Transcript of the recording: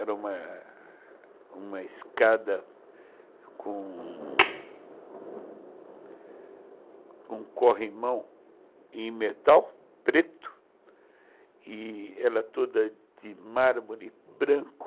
Era uma escada com um corrimão em metal preto e ela toda de mármore branco.